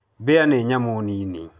Mbĩa nĩ nyamũ nini.